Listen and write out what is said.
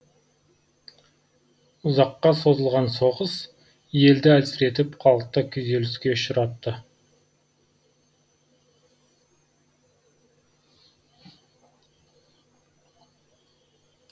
ұзаққа созылған соғыс елді әлсіретіп халықты күйзеліске ұшыратты